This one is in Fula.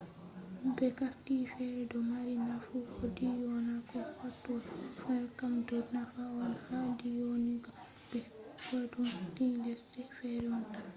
be carti fere do mari nafu a dyona ko hatoi fere kam do nafa on ha dyonuga be koidum ni lesde fere on tan